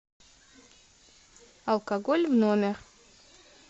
алкоголь в номер